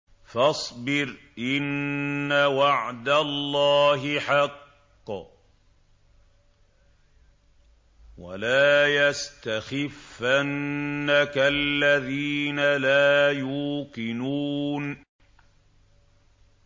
فَاصْبِرْ إِنَّ وَعْدَ اللَّهِ حَقٌّ ۖ وَلَا يَسْتَخِفَّنَّكَ الَّذِينَ لَا يُوقِنُونَ